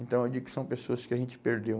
Então eu digo que são pessoas que a gente perdeu.